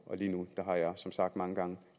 lige nu har jeg som sagt mange gange